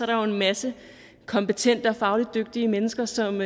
der jo en masse kompetente og fagligt dygtige mennesker som